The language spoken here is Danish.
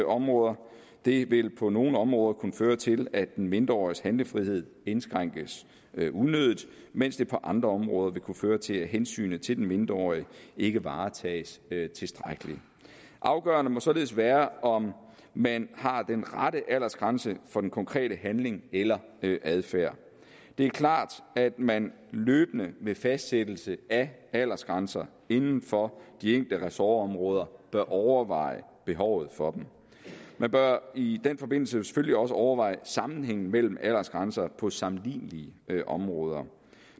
områder det vil på nogle områder kunne føre til at en mindreårigs handlefrihed indskrænkes unødigt mens det på andre områder vil kunne føre til at hensynet til den mindreårige ikke varetages tilstrækkeligt afgørende må således være om man har den rette aldersgrænse for den konkrete handling eller adfærd det er klart at man løbende ved fastsættelse af aldersgrænser inden for de enkelte ressortområder bør overveje behovet for dem man bør i den forbindelse selvfølgelig også overveje sammenhængen mellem aldersgrænser på sammenlignelige områder